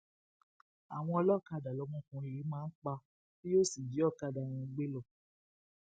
àwọn ọlọkadà lọmọkùnrin yìí máa ń pa tí yóò sì jí ọkadà wọn gbé lọ